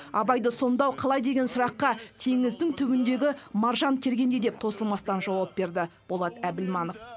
абайды сомдау қалай деген сұраққа теңіздің түбіндегі маржан тергендей деп тосылмастан жауап берді болат әбілманов